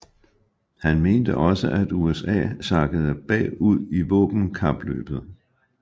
Han mente også at USA sakkede bag ud i våbenkapløbet